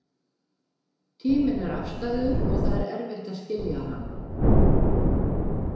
Tíminn er afstæður og það er erfitt að skilja hann.